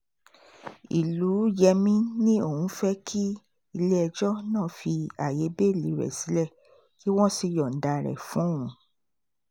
ìlùyẹmi ni òun fẹ́ kí ilé-ẹjọ́ náà fi ààyè bẹ́ẹ́lí rẹ̀ sílẹ̀ kí wọ́n sì yọ̀ǹda rẹ̀ fún òun